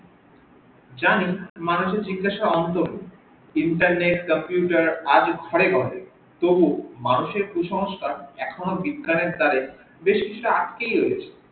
জানি মানুষের জিজ্ঞাসার অন্তঃর নেই internet computer আজ ঘরে ঘরে তবুও মানুষের কুসংস্কার এখনো বিজ্ঞানের দ্বারে বেশ কিছুটা আটকে গিয়েছে